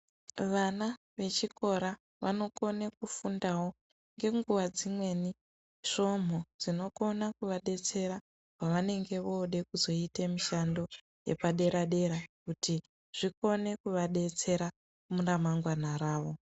Vana vechikora vonokone kufunda wo nenguva dzimweni svomhu dzinokona kuvadetsera pavanenge vode kuzoita mushishando yepadera dera kuti zvikone kuvadetsera muramangwana ravo .